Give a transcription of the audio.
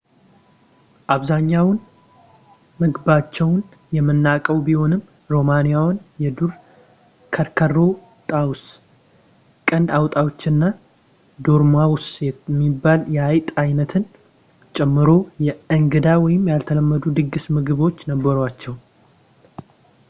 አብዛኛውን ምግባቸውን የምናውቀው ቢሆንም ሮማውያን የዱር ከርከሮ ጣዎስ ቀንድ አውጣዎች እና ዶርማውስ የሚባል የአይጥ አይነትን ጨምሮ እንግዳ ወይም ያልተለመዱ የድግስ ምግቦች ነበሯቸው